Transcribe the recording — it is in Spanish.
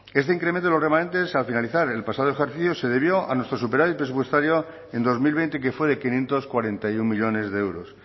este incremento en los remanentes al finalizar el pasado ejercicio se debió a nuestro superávit presupuestario en dos mil veinte que fue de quinientos cuarenta y uno millónes de euros